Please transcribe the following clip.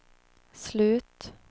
slut